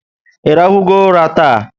Irahu go ụla taa?